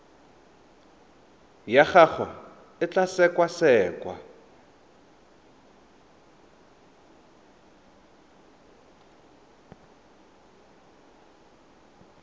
ya gago e tla sekasekwa